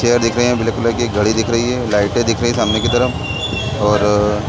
chair दिख रही है ब्लैक कलर की घड़ी दिख रही है लाइटे दिख रही है सामने की तरफ और--